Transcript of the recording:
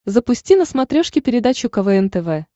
запусти на смотрешке передачу квн тв